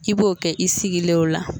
I b'o kɛ i sigile o la.